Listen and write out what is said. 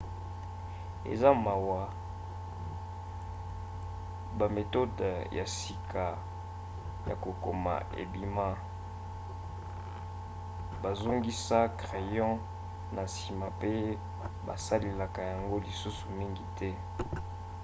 eza mawa bametode ya sika ya kokoma ebima bazongisa crayon na nsima mpe basalelaka yango lisusu mingi te